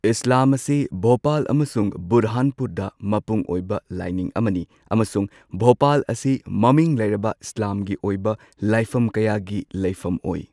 ꯏꯁꯂꯥꯝ ꯑꯁꯤ ꯚꯣꯄꯥꯜ ꯑꯃꯁꯨꯡ ꯕꯨꯔꯍꯥꯟꯄꯨꯔꯗ ꯃꯄꯨꯡ ꯑꯣꯏꯕ ꯂꯥꯏꯅꯤꯡ ꯑꯃꯅꯤ꯫ ꯑꯃꯁꯨꯡ ꯚꯣꯄꯥꯜ ꯑꯁꯤ ꯃꯃꯤꯡ ꯂꯩꯔꯕ ꯏꯁꯂꯥꯝꯒꯤ ꯑꯣꯏꯕ ꯂꯥꯏꯐꯝ ꯀꯌꯥꯒꯤ ꯂꯩꯐꯝ ꯑꯣꯏ꯫